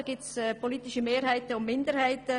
Da gibt es politische Mehrheiten und Minderheiten.